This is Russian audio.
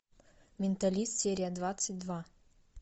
менталист серия двадцать два